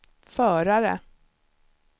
förare